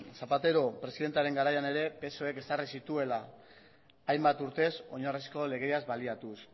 zapatero presidentearen garaian ere psoek ezarri zituela hainbat urtez oinarrizko legeaz baliatuz